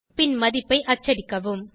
பின் மதிப்பை அச்சடிக்கவும்